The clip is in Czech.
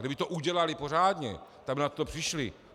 Kdyby to udělali pořádně, tak by na to přišli.